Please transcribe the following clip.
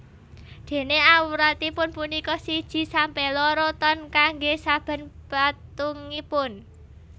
Dene awratipun punika siji sampe loro ton kangge saben patungipun